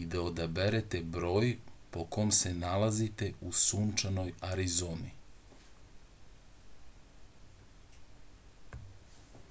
i da odaberete broj po kom se nalazite u sunčanoj arizoni